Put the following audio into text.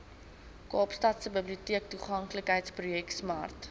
kaapstadse biblioteektoeganklikheidsprojek smart